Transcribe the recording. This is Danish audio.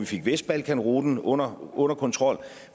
fik vestbalkanruten under under kontrol